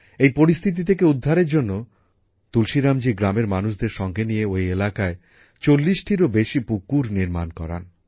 এই পরিস্থিতি থেকে উদ্ধারের জন্য তুলসীরামজী গ্রামের মানুষদের সঙ্গে নিয়ে ওই এলাকায় ৪০টিরও বেশি পুকুর নির্মাণ করান